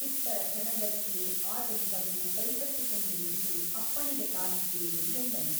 ಉತ್ತರ ಕ್ಷಣದಲ್ಲಿಯೇ ಆತನು ಬಂದು ಕೈಕಟ್ಟಿಕೊಂಡು ನಿಂತು ಅಪ್ಪಣೆಗೆ ಕಾದಿದ್ದೇನೆ ಎಂದನು.